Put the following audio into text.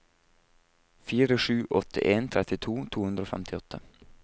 fire sju åtte en trettito to hundre og femtiåtte